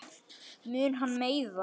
Mun hann meiðast?